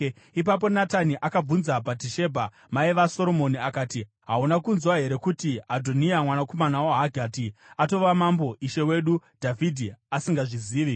Ipapo Natani akabvunza Bhatishebha, mai vaSoromoni akati, “Hauna kunzwa here kuti Adhoniya, mwanakomana waHagiti, atova mambo ishe wedu Dhavhidhi asingazvizivi?